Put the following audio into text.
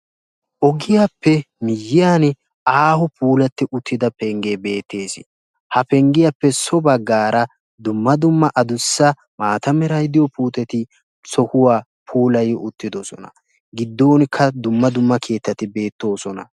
ogiyaappe miyaani aaho puulattida pengee beettesi ha penggiyaappe so bagaara dumma dumma adussa maata meray diyoo puuteti sohuwaa puulay uttidosona giddoonikka dumma dumma keettati beettoosona.